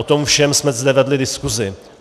O tom všem jsme zde vedli diskusi.